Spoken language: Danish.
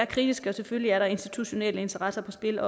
kritiske og selvfølgelig er der også institutionelle interesser på spil